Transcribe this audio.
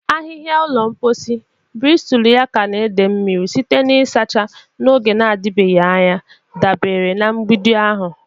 Ahịhịa ụlọ mposi, bristulu ya ka na-ete mmiri site na ịchacha ya n'oge na-adịbeghị anya, dabere na mgbidi ahụ.